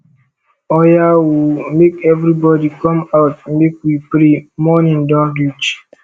oya oo make everybody come out make we pray morning don reach